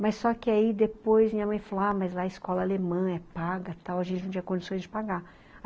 Mas só que aí depois minha mãe falou, ah, mas lá é escola alemã, é paga, tal, a gente não tinha condições de pagar.